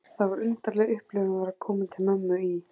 Það var undarleg upplifun að vera komin til mömmu í